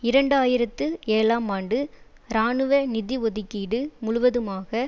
இரண்டாயிரத்தி ஏழாம் ஆண்டு இராணுவ நிதி ஒதுக்கீடு முழுவதுமாக